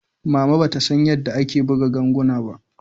Mama bata san yanda ake buga ganguna ba.